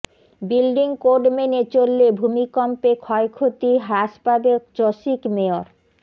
building code মেনে চললে ভূমিকম্পে ক্ষয়ক্ষতি হ্রাস পাবে চসিক মেয়র